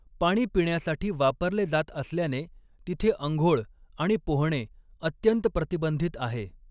पाणी पिण्यासाठी वापरले जात असल्याने तिथे आंघोळ आणि पोहणे अत्यंत प्रतिबंधित आहे.